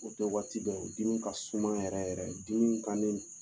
O tɛ waati bɛɛ ye o dimi kasuman yɛrɛ yɛrɛ de dimi bannen